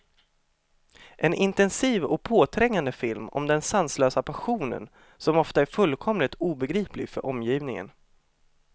En intensiv och påträngande film om den sanslösa passionen, som ofta är fullkomligt obegriplig för omgivningen.